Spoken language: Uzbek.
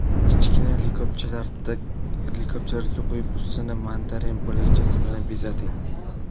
Kichkina likopchalarga qo‘yib ustini mandarin bo‘lakchasi bilan bezating.